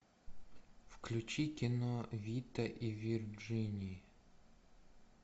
включи кино вита и вирджиния